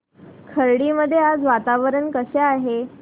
खर्डी मध्ये आज वातावरण कसे आहे